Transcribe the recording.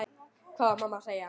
Hvað var mamma að segja?